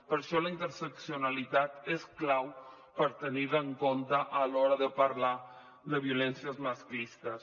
per això la interseccionalitat és clau per tenir la en compte a l’hora de parlar de violències masclistes